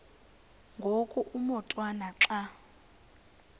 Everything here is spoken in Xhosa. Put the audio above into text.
ngoku umotwana xa